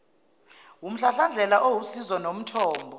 wumhlahlandlela owusizo nomthombo